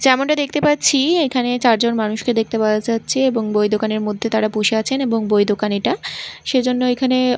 যেমনটা দেখতে পাচ্ছি এখানে চারজন মানুষকে দেখতে পাওয়া যাচ্ছে এবং বই দোকানের মধ্যে তারা বসে আছেন এবং বই দোকান এটা সেই জন্য এখানে--